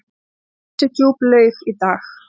Ansi djúp laug í dag.